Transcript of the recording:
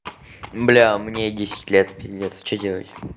бля мне десять лет пиздец что делать